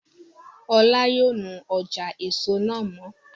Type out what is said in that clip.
Ọlá yóò nu ọjà èso náà mọ́